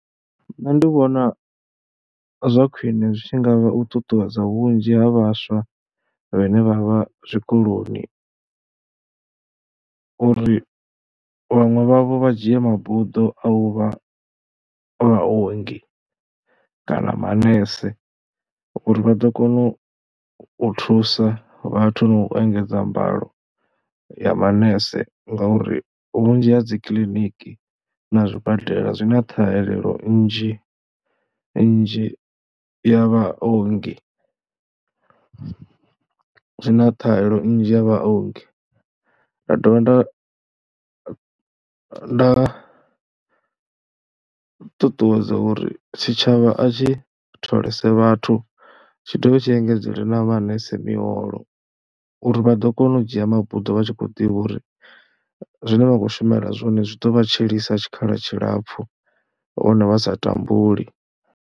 Nṋe ndi vhona zwa khwine zwi tshi nga u ṱuṱuwedza vhunzhi ha vhaswa vhane vha vha zwikoloni uri vhaṅwe vha vho vha dzhia mabuḓo a u vha vhaongi kana manese uri vha ḓo kona u thusa vhathu na u engedza mbalo ya manese ngauri vhunzhi ha dzi kiliniki na zwibadela zwi na ṱhahelelo nnzhi nnzhi ya vhaongi, zwi na ṱhahelo nnzhi ya vhaongi. Nda dovha nda nda ṱuṱuwedza uri tshitshavha a tshi tholese vhathu, tshi dovha tshi engedzelwe na manese miholo uri vha ḓo kona u dzhia mabuḓo vha tshi khou ḓivha uri zwine vha khou shumela zwone zwi ḓo vha tshilisa tshikhala tshilapfhu nahone vha sa tambuli.